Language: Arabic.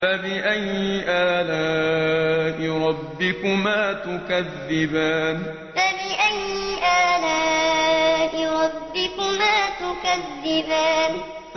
فَبِأَيِّ آلَاءِ رَبِّكُمَا تُكَذِّبَانِ فَبِأَيِّ آلَاءِ رَبِّكُمَا تُكَذِّبَانِ